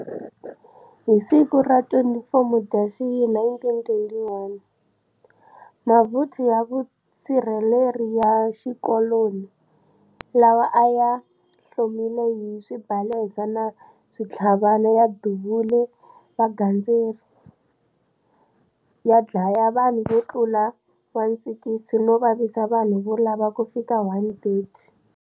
Hi siku ra 24 Mudyaxihi 1921, mavuthu ya vusirheleri ya xikoloni lawa a ya hlomile hi swibalesa na switlhavana ya duvule vagandzeri, ya dlaya vanhu vo tlula 160 no vavisa vanhu vo lava ku fika 130.